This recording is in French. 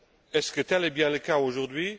Est ce que tel est bien le cas aujourd'hui?